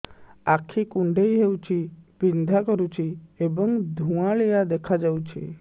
ଆଖି କୁଂଡେଇ ହେଉଛି ବିଂଧା କରୁଛି ଏବଂ ଧୁଁଆଳିଆ ଦେଖାଯାଉଛି